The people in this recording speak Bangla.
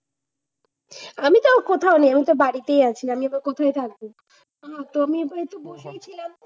আমিতো কোথাও নেই। আমি তো বাড়িতে আছি। আমি আবার কোথায় থাকবো? না তো আমি আবার একটু বসে ছিলাম।